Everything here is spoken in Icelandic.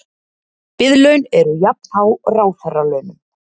Biðlaun eru jafnhá ráðherralaunum